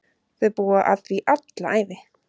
Þau búa að því alla ævi.